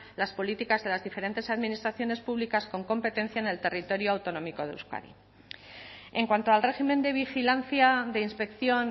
las políticas de las diferentes administraciones públicas con competencia en el territorio autonómico de euskadi en cuanto al régimen de vigilancia de inspección